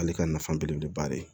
Ale ka nafa belebeleba de ye